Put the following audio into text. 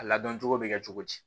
A ladon cogo be kɛ cogo di